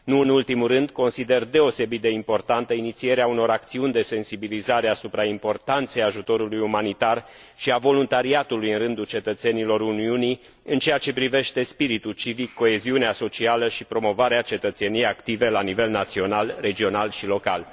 Nu în ultimul rând, consider deosebit de importantă inițierea unor acțiuni de sensibilizare asupra importanței ajutorului umanitar și a voluntariatului în rândul cetățenilor Uniunii în ceea ce privește spiritul civic, coeziunea socială și promovarea cetățeniei active la nivel național, regional și local.